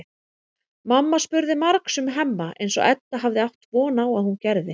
Mamma spurði margs um Hemma eins og Edda hafði átt von á að hún gerði.